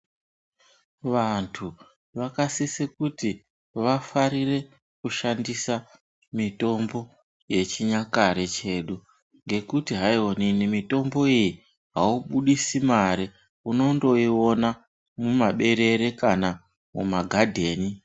Vantu vaka sise kuti vafarire kushandisa mitombo ye chinyakare chedu ngekuti hayi onini mitombo uwu aubudisi mare unondo iona muma berere kana muma gadheni.